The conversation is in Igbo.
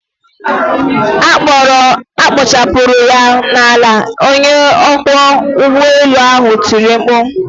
A kpochapụrụ ya n'ala!onye ọkwọ ụgbọelu ahụ tiri mkpu.